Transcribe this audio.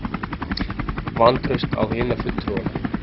Vantraust á hina fulltrúana